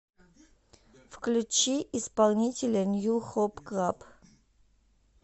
включи исполнителя нью хоп клаб